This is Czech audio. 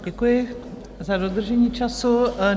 Děkuji za dodržení času.